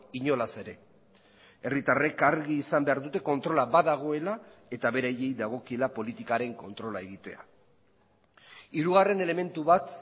inolaz ere herritarrek argi izan behar dute kontrola badagoela eta beraiei dagokiela politikaren kontrola egitea hirugarren elementu bat